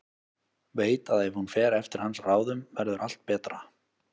Veit að ef hún fer eftir hans ráðum verður allt betra.